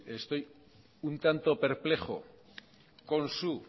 estoy un tanto perplejo con su